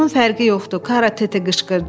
Bunun fərqi yoxdur, Karatete qışqırdı.